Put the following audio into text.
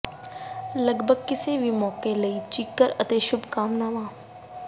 ਲਗਭਗ ਕਿਸੇ ਵੀ ਮੌਕੇ ਲਈ ਚੀਕਰ ਅਤੇ ਸ਼ੁਭ ਕਾਮਨਾਵਾਂ